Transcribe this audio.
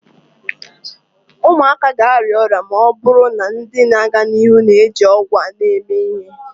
ụmụaka ga-arịa ọrịa ma ọ bụrụ na ndị na-aga n'ihu na-eji ọgwụ a eme ihe